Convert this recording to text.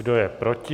Kdo je proti?